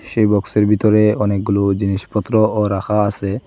সেই বক্সের ভিতরে অনেকগুলো জিনিসপত্রও রাখা আসে।